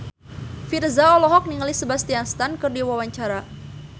Virzha olohok ningali Sebastian Stan keur diwawancara